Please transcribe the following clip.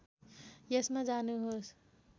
यसमा जानुहोस्